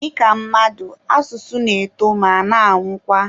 Dịka mmadụ, asụsụ na-eto ma na-anwụkwa.